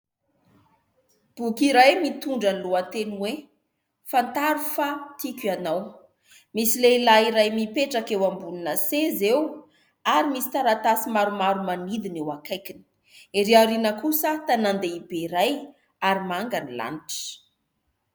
Boky iray mitondra ny lohateny hoe :" Fantaro fa tiako ianao ", misy lehilahy iray mipetraka eo ambonina seza eo ary misy taratasy maromaro manidina eo akaikiny, erỳ aoriana kosa tànan-dehibe iray ary manga ny lanitra.